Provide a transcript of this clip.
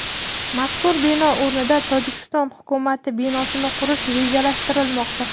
Mazkur bino o‘rnida Tojikiston hukumati binosini qurish rejalashtirilmoqda.